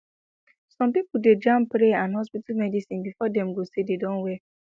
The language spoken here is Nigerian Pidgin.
some pipo dey jam prayer and hospital medicine before dem go say dem don well